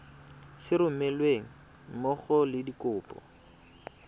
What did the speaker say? sa romelweng mmogo le dikopo